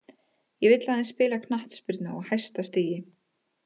Ég vill aðeins spila knattspyrnu á hæsta stigi.